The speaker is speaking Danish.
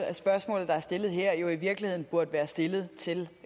at spørgsmålet der er stillet her jo i virkeligheden burde være stillet til